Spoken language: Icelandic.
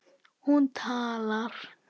Hún talar.